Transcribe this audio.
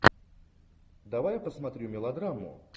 давай я посмотрю мелодраму